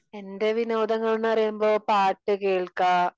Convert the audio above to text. എന്റെ വിനോദങ്ങൾ എന്ന് പറയുമ്പോ പാട്ട് കേൾക്ക